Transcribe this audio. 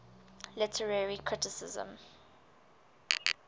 literary criticism